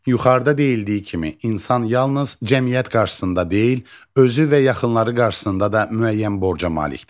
Yuxarıda deyildiyi kimi, insan yalnız cəmiyyət qarşısında deyil, özü və yaxınları qarşısında da müəyyən borca malikdir.